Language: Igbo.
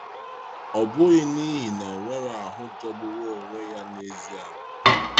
Ọ bụghị n’ihi na o nwere ahụ jọgburu onwe ya n’ezie.